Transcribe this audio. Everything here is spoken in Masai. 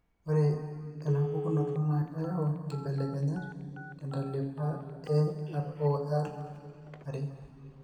Ore enapukunoto naa keyau inkibelekenyat tentalipa eRORare.